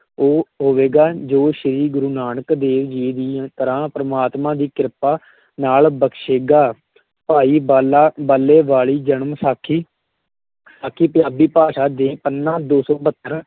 ਉਹ ਹੋਵੇਗਾ ਜੋ ਸ਼੍ਰੀ ਗੁਰੂ ਨਾਨਕ ਦੇਵ ਜੀ ਦੀ ਤਰ੍ਹਾਂ ਪਰਮਾਤਮਾ ਦੀ ਕ੍ਰਿਪਾ ਨਾਲ ਬਖਸ਼ੇਗਾ ਭਾਈ ਬਾਲਾ ਬਾਲੇ ਵਾਲੀ ਜਨਮ ਸਾਖੀ ਸਾਖੀ ਪੰਜਾਬੀ ਭਾਸ਼ਾ ਦੇ ਪੰਨਾ ਦੋ ਸੌ ਬਹੱਤਰ